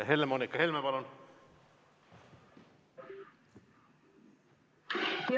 Helle-Moonika Helme, palun!